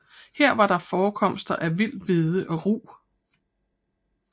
Her var der forekomster af vild hvede og rug